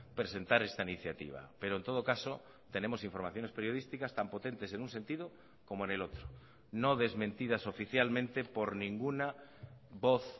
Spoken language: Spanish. presentar esta iniciativa pero en todo caso tenemos informaciones periodísticas tan potentes en un sentido como en el otro no desmentidas oficialmente por ninguna voz